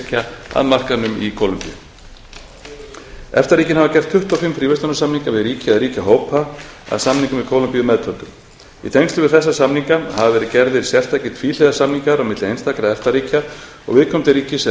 að markaðnum í kólumbíu efta ríkin hafa gert tuttugu og fimm fríverslunarsamninga við ríki eða ríkjahópa að samningnum við kólumbíu meðtöldum í tengslum við þessa samninga hafa verið gerðir sérstakir tvíhliða samningar á milli einstakra efta ríkja og viðkomandi ríkis eða